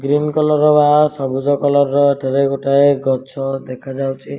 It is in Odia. ଗ୍ରୀନ କଲର ର ବା ସବୁଜ କଲର ର ଏଠାରେ ଗୋଟାଏ ଗଛ ଦେଖା ଯାଉଚି ।